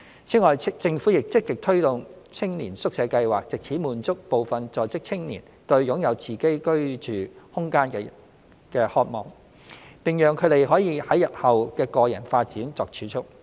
此外，政府亦積極推動青年宿舍計劃，藉此滿足部分在職青年對擁有自己居住空間的渴望，並讓他們可為日後的個人發展作儲蓄。